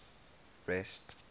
rest